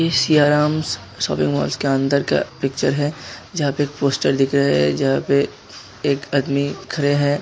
ये Siyarams shopping malls के अंदर का पिक्चर है। जहाँ पे एक पोस्टर दिख रहा है। जहाँ पे एक आदमी खड़े है।